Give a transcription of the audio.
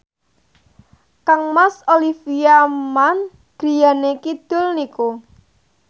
kangmas Olivia Munn griyane kidul niku